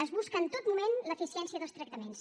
es busca en tot moment l’eficiència dels tractaments